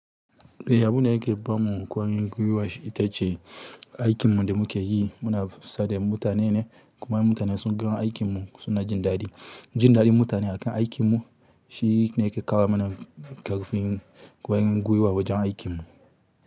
Eh, abun da yake ba mu ƙwarin gwiwa shi ita ce aikinmu da muke yi muna kusa da mutane ne. Kuma in mutane sun gan aikinmu suna jin daɗi, jin daɗin mutane akan aikinmu shi ne yake kawo mana ƙarfin ƙwarin gwiwa wajen aikinmu.